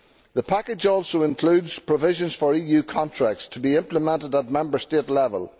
The package also includes provisions for EU contracts to be implemented at Member State level.